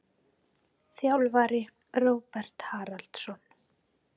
Þjálfari: Róbert Haraldsson.